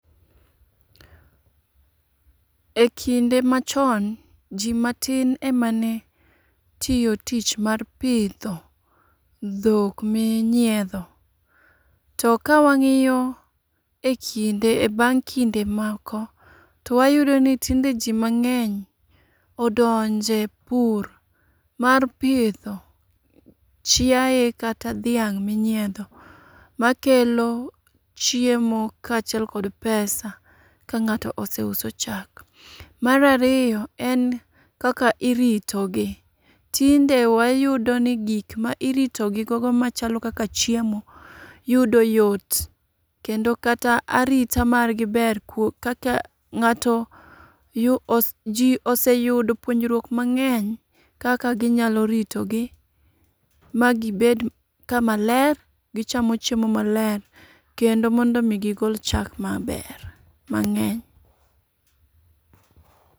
Ekinde machon ji matin emane tiyo tich mar pidho dhok minyiedho. To kawang'iyo ekinde e bang' kinde moko to wayudoni tinde jii mang'eny odonje pur mar pidho chiaye kata dhiang' minyiedho makelo chiemo kachiel kod pesa ka ng'ato oseuso chak. Mar ariyo en kaka iritogi. Tinde wayudo ni gik ma iritogigogo machalo kaka chiemo yudo yot. Kendo kata arita margi ber kata ng'ato ji ji oseyudo puonjruok mang'eny kaka ginyalo ritogi magi bed kama ler, gichamo chiem maler, kendo mondomi gigol chak maber mang'eny.